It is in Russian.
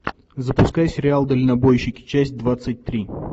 запускай сериал дальнобойщики часть двадцать три